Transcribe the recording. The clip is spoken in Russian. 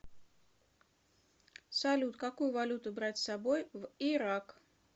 салют какую валюту брать с собой в ирак